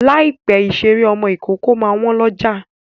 Láìpẹ́ ìṣeré ọmọ ìkókó máa wọ́n lọ́jà.